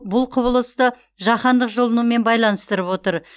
бұл құбылысты жаһандық жылынумен байланыстырып отыр